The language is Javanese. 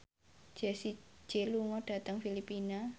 Jessie J lunga dhateng Filipina